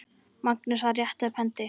Magnús: Að rétta upp hendi.